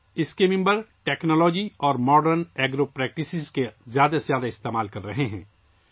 اس کے اراکین ٹیکنالوجی اور جدید زرعی طریقوں کا زیادہ سے زیادہ استعمال کر رہے ہیں